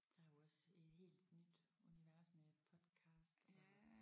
Der er jo også et helt nyt univers med podcast og